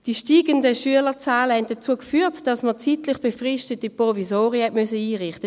Die steigenden Schülerzahlen führten dazu, dass man zeitlich befristete Provisorien einrichten musste.